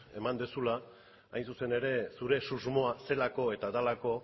eman duzula hain zuzen ere zure susmoa zelako eta delako